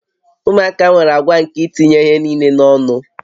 Ụmụaka nwere àgwà nke itinye ihe niile n'ọnụ